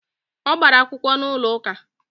O gbara akwukwo n'ulo uka